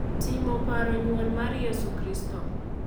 timo paro nyuol mar Yesu Kristo.